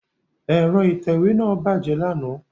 Ẹ̀rọ ìtẹ̀wé náà bàjẹ́ lánàá.